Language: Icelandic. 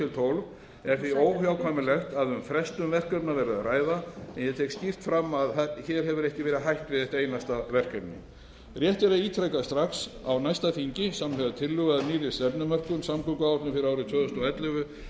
tólf er því óhjákvæmilegt að um frestun verkefna verði að ræða en ég tek skýrt fram að hér hefur ekki verið hætt við eitt einasta verkefni rétt er að ítreka að strax á næsta þingi samhliða tillögu að nýrri stefnumörkun samgönguáætlun fyrir árin tvö þúsund og ellefu